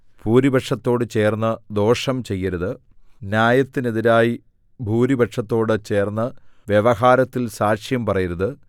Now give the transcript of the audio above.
ഭൂരിപക്ഷത്തോട് ചേർന്ന് ദോഷം ചെയ്യരുത് ന്യായത്തിന് എതിരായി ഭൂരിപക്ഷത്തോട് ചേർന്ന് വ്യവഹാരത്തിൽ സാക്ഷ്യം പറയരുത്